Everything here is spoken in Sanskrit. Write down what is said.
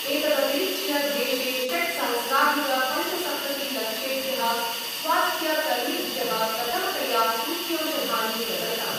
एतदतिरिच्य देशे षट्सहस्राधिकपंचसप्ततिलक्षेभ्यः स्वास्थ्यकर्मिभ्यः प्रथमतया सूच्यौषधानि प्रदत्तानि।